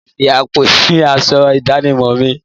Máa fi àpò sì aṣọ ìdánimọ̀ mi